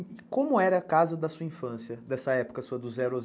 E como era a casa da sua infância, dessa época sua dos zero aos dezesseis?